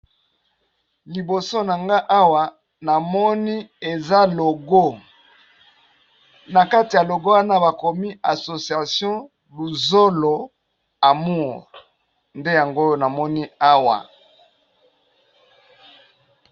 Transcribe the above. Liboso na nga awa namoni eza logo, na kati ya logo wana bakomi asociation luzolo amure ,nde yango namoni awa.